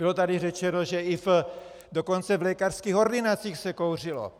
Bylo tady řečeno, že dokonce i v lékařských ordinacích se kouřilo.